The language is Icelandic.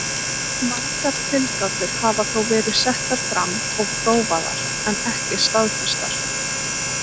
Margar tilgátur hafa þó verið settar fram og prófaðar en ekki staðfestar.